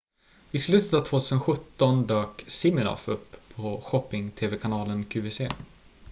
i slutet av 2017 dök siminoff upp på shopping-tv-kanalen qvc